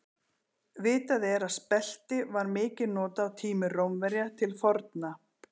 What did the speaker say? Vitað er að spelti var mikið notað á tímum Rómverja til forna.